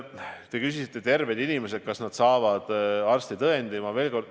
Te küsisite, kas terved inimesed saavad arstitõendi.